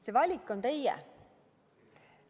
See valik on teie.